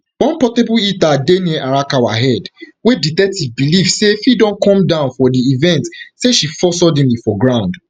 one portable heater dey near arakawa head wey detective believe say fit don come down for di event say she fall suddenly for ground